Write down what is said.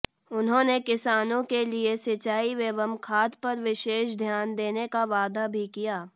उन्होंने किसानों के लिए सिंचाई एवं खाद पर विशेष ध्यान देने का वादा भी किया